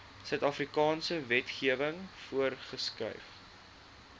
suidafrikaanse wetgewing voorgeskryf